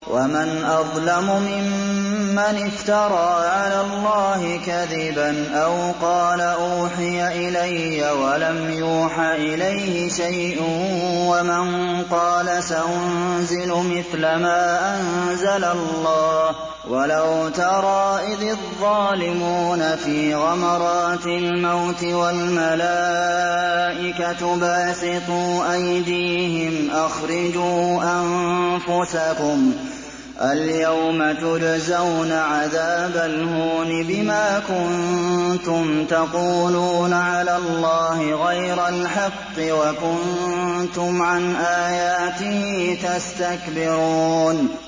وَمَنْ أَظْلَمُ مِمَّنِ افْتَرَىٰ عَلَى اللَّهِ كَذِبًا أَوْ قَالَ أُوحِيَ إِلَيَّ وَلَمْ يُوحَ إِلَيْهِ شَيْءٌ وَمَن قَالَ سَأُنزِلُ مِثْلَ مَا أَنزَلَ اللَّهُ ۗ وَلَوْ تَرَىٰ إِذِ الظَّالِمُونَ فِي غَمَرَاتِ الْمَوْتِ وَالْمَلَائِكَةُ بَاسِطُو أَيْدِيهِمْ أَخْرِجُوا أَنفُسَكُمُ ۖ الْيَوْمَ تُجْزَوْنَ عَذَابَ الْهُونِ بِمَا كُنتُمْ تَقُولُونَ عَلَى اللَّهِ غَيْرَ الْحَقِّ وَكُنتُمْ عَنْ آيَاتِهِ تَسْتَكْبِرُونَ